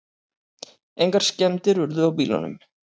Engar skemmdir urðu á bílunum